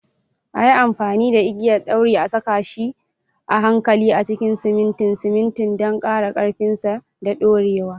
A yi amfani da igiyar ɗauri a saka shi a hankali a cikin simintin simintin don ƙara ƙarfinsa da dorewa.